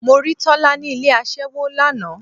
Mo rí Tọ́lá ni ilé aṣẹ́wó lánàá.